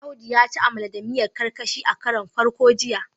Audu ya ci amala da miyar karkashi a karon farko jiya